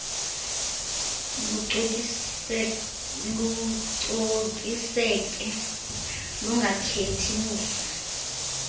lucokiseke lungakhethi buso